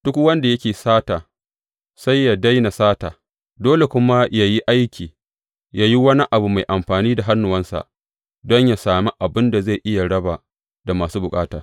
Duk wanda yake sata, sai yă daina sata, dole kuma yă yi aiki, yă yi wani abu mai amfani da hannuwansa, don yă sami abin da zai iya raba da masu bukata.